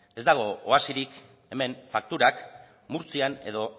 ez dago oasirik hemen fakturak murtzian edo